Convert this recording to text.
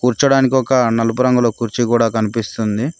కూర్చోడానికి ఒక నలుపు రంగులో కూర్చి కూడా కనిపిస్తుంది